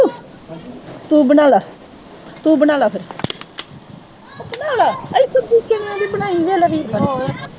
ਤੂੰ ਬਣਾ ਲੈ ਤੂੰ ਬਣਾ ਲੈ ਫੇਰ ਉਹ ਬਣਾ ਲੈ, ਇੱਧਰ ਦੇਖੀ ਹੋਰ